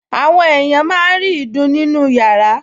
Àwọn èèyàn máa ń rí ìdun nínú yàrá